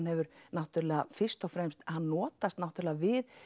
hefur fyrst og fremst hann notast við